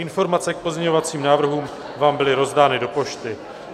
Informace k pozměňovacím návrhům vám byly rozdány do pošty.